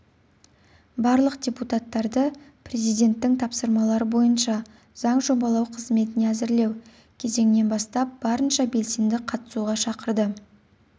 барлық депутаттарды президенттің тапсырмалары бойынша заң жобалау қызметіне әзірлеу кезеңінен бастап барынша белсенді қатысуға шақырды